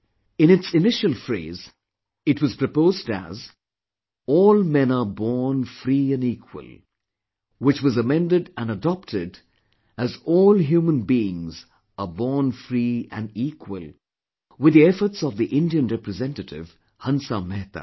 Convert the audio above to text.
In its initial phrase, it was proposed as 'all men are born free and equal' which was amended and adopted as 'all human beings are born free and equal' with the efforts of the Indian representative Hansa Mehta